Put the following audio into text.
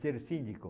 Ser cínico.